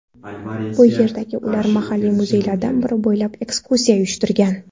Bu yerda ular mahalliy muzeylardan biri bo‘ylab ekskursiya uyushtirgan.